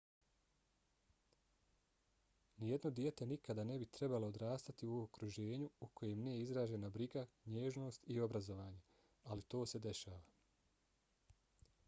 nijedno dijete nikada ne bi trebalo odrastati u okruženju u kojem nije izražena briga nježnost i obrazovanje ali to se dešava